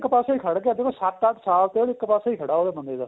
ਇੱਕ ਪਾਸਿਓ ਖੜ ਗਿਆ ਦੇਖੋ ਸੱਤ ਅੱਠ ਸਾਲ ਤੋਂ ਇੱਕ ਪਾਸੇ ਹੀ ਖੜਾ ਉਹ ਬੰਦੇ ਦਾ